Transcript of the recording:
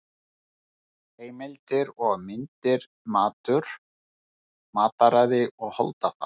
Heimildir og myndir Matur, mataræði og holdafar.